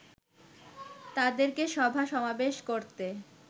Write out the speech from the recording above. তাদেরকে সভা সমাবেশ করতে